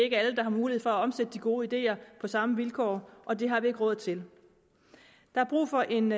er alle der har mulighed for at omsætte de gode ideer på samme vilkår og det har vi ikke råd til der er brug for en